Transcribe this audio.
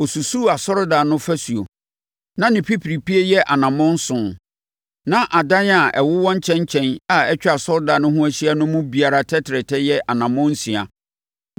Ɔsusuu asɔredan no fasuo; na ne pipiripie yɛ anammɔn nson, na adan a ɛwowɔ nkyɛn nkyɛn a atwa asɔredan no ho ahyia no mu biara tɛtrɛtɛ yɛ anammɔn nsia.